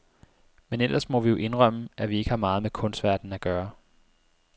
Men ellers må vi jo indrømme, at vi ikke har meget med kunstverdenen at gøre.